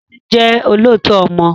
Tádé jẹ́ olóòótọ́ ọmọ